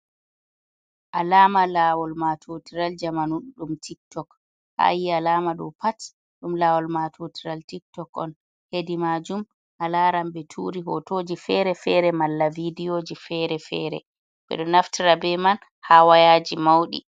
Alama lawol matotiral jamanu ɗum tiktok. Ha ayi alama ɗo pat ɗum lawol matotiral tiktok on. Hedi majum alaran ɓe turi hotoji fere-fere, malla vidiyoji fere-fere. Ɓedo naftira be man ha wayaji mauɗi.